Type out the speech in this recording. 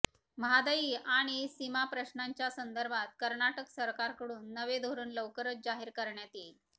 म्हादई आणि सीमाप्रश्नाच्या संदर्भात कर्नाटक सरकारकडून नवे धोरण लवकरच जाहीर करण्यात येईल